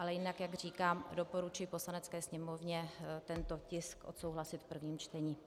Ale jinak, jak říkám, doporučuji Poslanecké sněmovně tento tisk odsouhlasit v prvním čtení.